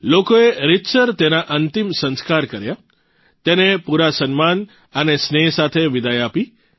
લોકોએ રીતસર તેના અંતિમ સંસ્કાર કર્યા તેને પૂરા સન્માન અને સ્નેહ સાથે વિદાઇ આપી